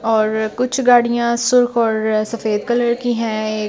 और कुछ गाड़ियां सुर्ख और सफेद कलर की हैं ये--